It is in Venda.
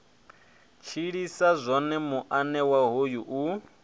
tshilisa zwone muanewa hoyu u